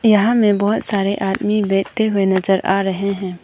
यहां में बहुत सारे आदमी बैठते हुए नजर आ रहे हैं।